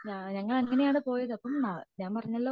ഞങ്ങൾ അങ്ങനാണ് പോയത് അപ്പം ഞാൻ പറഞ്ഞല്ലോ